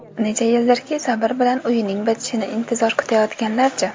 Necha yildirki sabr bilan uyining bitishini intizor kutayotganlarchi?